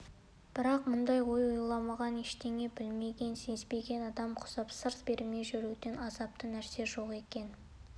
бірақ мұндай ой ойламаған ештеңе білмеген-сезбеген адам құсап сыр бермей жүруден азапты нәрсе жоқ екен